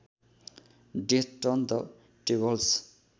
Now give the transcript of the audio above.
death turn the tables